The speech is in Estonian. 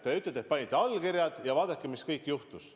Te ütlete, et panite allkirjad ja vaadake, mis kõik juhtus.